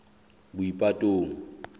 boipatong